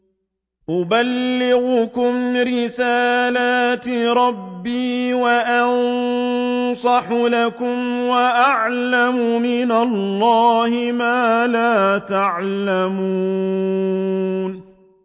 أُبَلِّغُكُمْ رِسَالَاتِ رَبِّي وَأَنصَحُ لَكُمْ وَأَعْلَمُ مِنَ اللَّهِ مَا لَا تَعْلَمُونَ